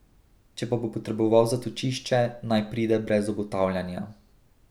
Če pa bo potreboval zatočišče, naj pride brez obotavljanja.